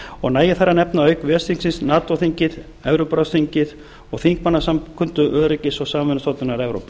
og nægir þar að nefna auk ves þingsins nato þingið evrópuráðsþingið og þingmannasamkundu öryggis og samvinnustofnunar evrópu